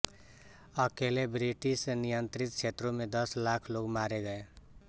अकेले ब्रिटिशनियंत्रित क्षेत्रों में दस लाख लोग मारे गए